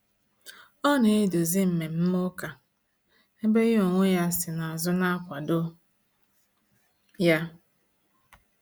Ọ na eduzi mmemme ụka, ebe ya ọ nwe ya si na azụ na-akwado ya